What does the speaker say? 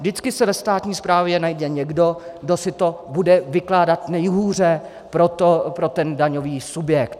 Vždycky se ve státní správě najde někdo, kdo si to bude vykládat nejhůře pro ten daňový subjekt.